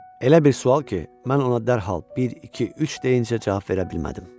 Elə bir sual ki, mən ona dərhal bir, iki, üç deyincə cavab verə bilmədim.